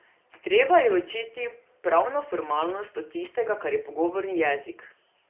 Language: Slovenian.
Treba je ločiti pravno formalnost od tistega, kar je pogovorni jezik.